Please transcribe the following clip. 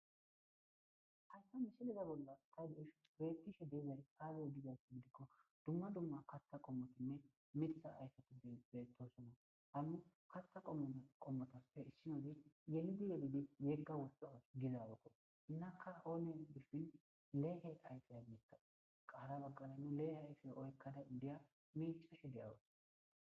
Haysa misileza bollan ta be'ishn tas betishe dizay aze gizaysa gidikon dumma dumma kataha qomotinne Mitha ayfeti betosona, ha katha qomotappe issinozi yelidi yelidi yega woxa gizaroko, hinaka oone guusi le'e ayfa ayfeko, qa hara bagara le'e ayfe oykada indiya mecashe de'awus.